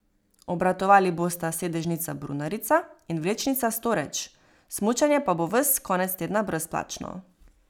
Obratovali bosta sedežnica Brunarica in vlečnica Storeč, smučanje pa bo ves konec tedna brezplačno.